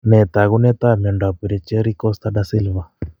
Nee taakunetaab myondap Richieri Costa Da Silva?